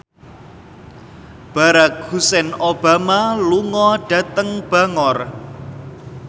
Barack Hussein Obama lunga dhateng Bangor